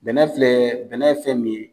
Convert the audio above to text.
Bɛnɛ filɛ bɛnɛ ye fɛn min ye.